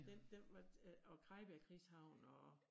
Den den måtte øh og Krejbjerg krigshavn og